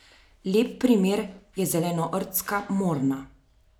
Lep primer je zelenortska morna.